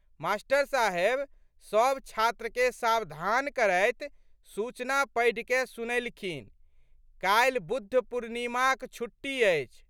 मा.साहेब सब छात्रकेँ सावधान करैत सूचना पढ़िकए सुनएलखिनकाल्हि बुद्ध पूर्णिमाक छुट्टी अछि।